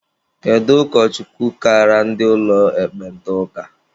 Kedu ụkọchukwu kaara ndị ụlọ ekpenta ụka?